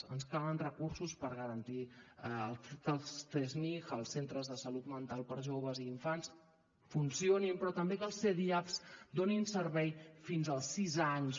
ens calen recursos per garantir que els csmij els centres de salut mental per a joves i infants funcionin però també que els cdiap donin servei fins als sis anys